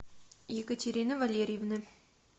екатерины валерьевны